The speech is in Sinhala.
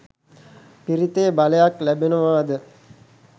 පිරිතේ බලයක් ලැබෙනවාද?